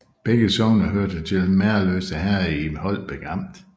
Begge sogne hørte til Merløse Herred i Holbæk Amt